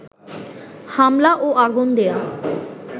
হামলা ও আগুন দেয়া